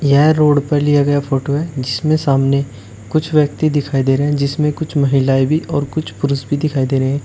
यह रोड पर लिया गया फोटो है जिसमे सामने कुछ व्यक्ति दिखाई दे रहे हैं जिसमें कुछ महिलाएं और कुछ पुरुष भी दिखाई दे रहे हैं।